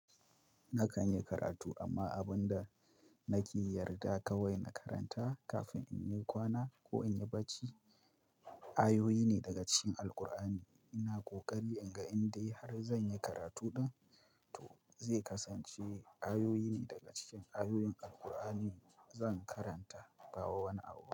Na kan yi karatu amma abun da nake yarda kawai na karanta kafin in yi kwana ko in yi barci, ayoyi ne daga cikin Alqur'ani. Ina ƙoƙari in ga inda har zan yi karatu ɗan, to zai kasance ayoyi ne daga cikin ayoyin Alqur'ani zan karanta gawa wani abu.